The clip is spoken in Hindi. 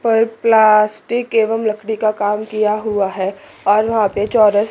पर प्लास्टिक एवं लकड़ी का काम किया हुआ है और वहां पे चौरस--